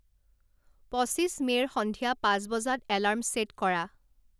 পঁচিশ মে'ৰ সন্ধিয়া পাঁচ বজাত এলাৰ্ম ছে'ট কৰা